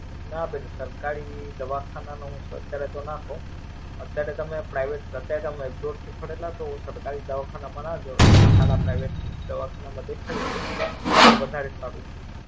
ના બેન. સરકારી દવાખાના નું સરકાર અત્યારે તો ના કવ. અત્યારે તમે Private અત્યારે તમે એબરોડ થી પડેલા તો સરકારી દવાખાના માં ના જાઓ. એક સારા Private દવાખાના માં દેખાડીદયો. તો વધારે સારું છે.